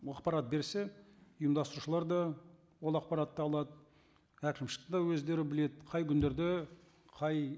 ақпарат берсе ұйымдастырушылар да ол ақпаратты алады әкімшілік те өздері біледі қай күндерде қай